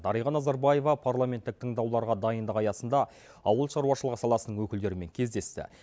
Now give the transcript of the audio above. дариға назарбаева парламенттік тыңдауларға дайындық аясында ауылшаруашылығы саласының өкілдерімен кездесті